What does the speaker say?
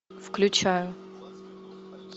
включаю